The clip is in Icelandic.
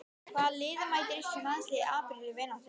Hvaða liði mætir Íslenska landsliðið í apríl í vináttuleik?